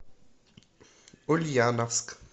ульяновск